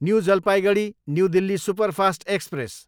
new Jalpaiguri, new Delhi superfast express